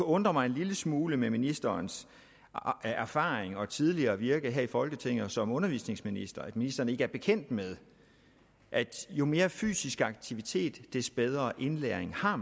undre mig en lille smule med ministerens erfaring og tidligere virke her i folketinget som undervisningsminister at ministeren ikke er bekendt med at jo mere fysisk aktivitet des bedre indlæring har